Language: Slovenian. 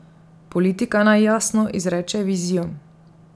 Politika naj jasno izreče vizijo.